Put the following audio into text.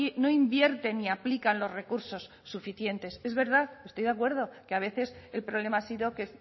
no invierten ni aplican los recursos suficientes es verdad estoy de acuerdo que a veces el problema ha sido que